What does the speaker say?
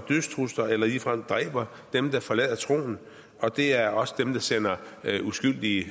dødstrusler eller ligefrem dræber dem der forlader troen og det er også dem der sender uskyldige